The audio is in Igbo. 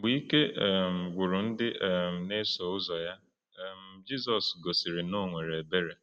Mgbe ike um gwụrụ ndị um na-eso ụzọ ya, um Jizọs gosiri na o nwere ebere.